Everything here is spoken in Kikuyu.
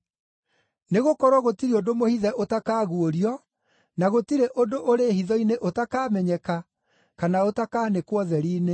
Nĩgũkorwo gũtirĩ ũndũ mũhithe ũtakaguũrio, na gũtirĩ ũndũ ũrĩ hitho-inĩ ũtakamenyeka kana ũtakanĩkwo ũtheri-inĩ.